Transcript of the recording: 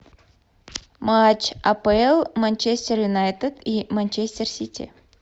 матч апл манчестер юнайтед и манчестер сити